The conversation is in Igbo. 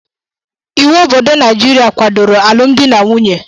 Íwú obodo Naijiria kwadoro alụmdi na nwunye.